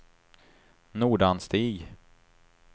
Nordanstig